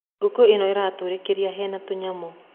Ngũkũ ĩno iratũrĩkirie hena tũnyamũ.